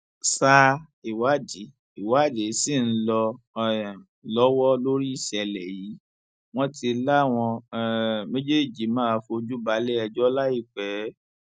sa ìwádìí ìwádìí ṣì ń lọ um lọwọ lórí ìṣẹlẹ yìí wọn ti láwọn um méjèèjì máa fojú balẹẹjọ láìpẹ